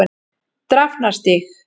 Drafnarstíg